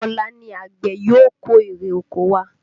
Ọ̀la ni àgbẹ̀ yóò kó ère oko wá